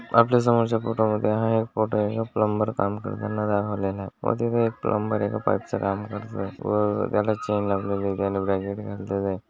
आपल्या समोरच्या फोटो मध्ये हा एक फोटो आहे प्लंबर काम करताना दाखवलेल आहे व तिथ प्लंबर एका पाइप च काम करत आहे.